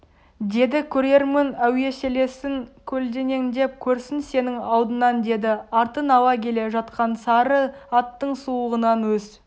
деді көрермін әуеселесін көлденеңдеп көрсін сенің алдыңнан деді артын ала келе жатқан сары аттың сулығынан өз